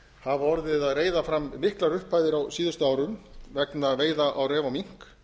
hafa orðið að reiða fram miklar upphæðir á seinustu árum vegna veiða á ref og mink